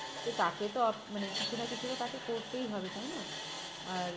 তো তাকে তো মানে কিছু না কিছু তাকে করতেই হবে তাই না? আর